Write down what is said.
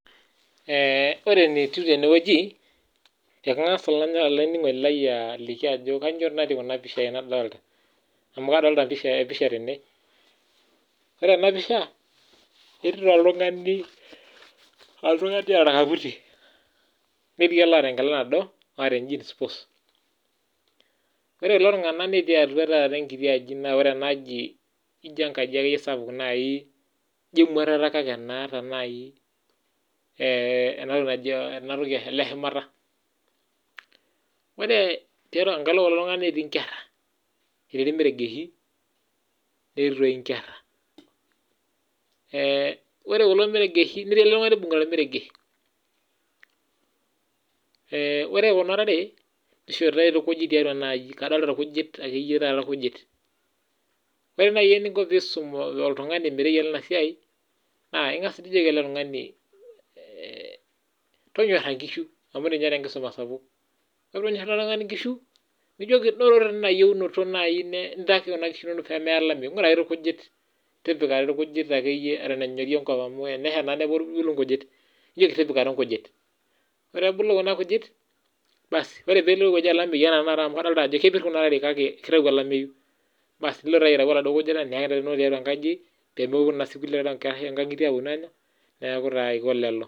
Eh ore enetiu tene wueji. Ekangas olaininingoni lai aliki ajo, kainyioo dii natii kuna pishai nadolita . Amu kadolita ipishai episha tene. Ore ena pisha etii di oltungani, oltungani oota orkaputi, netii olaata enkila nado neeta eh jeans pus . Ore kulo tunganak netii taata atua ekiti aji naa, ore ena aaji ijio enkaji akeyie sapuk naaji ijo, emuatata kake enaata naaji ena toki naaji eleshumata. Ore tiatua ekalo ekulo tunganak netii inkera . Etii irmeregeshi netii toi inkera . Eh ore kulo meregeshi netii oltungani oibungita ormeregesh . Eh ore kuna tare nishoritae irkujit tiatua ena aji, adolita irkujit tiatua ena aji akeyie taata irkujit. Ore naaji eniko peisum oltungani metayiolo ena siai naa, ingas nijoki ele tung'ani eh tonyora inkishu amu, ninye enkisuma sapuk. Ore peenyor ele tung'ani inkishu nijoki noto ina inoto naaji ntaki kuna kishu inonok pee meya olameyu intaiki irkujit, tipika irkujit akeyie eton enyori enkop amu ata tenesha naa nebulu inkujit. Nijoki tipika doi inkujit. Ore ebulu kuna kujit basi ore pee elotu olameyu anaa taata amu adol kepir tenakata kuna ntare kake kitayu ajo olameyu basi, nilo taayie aitayu oladuo nkujita niyaki intokitin inonok tiatua inkajijik peemeponu naa kulie tare oo kulie nkangitie aanya . Neaku taa aiko lelo.